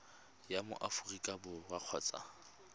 wa mo aforika borwa kgotsa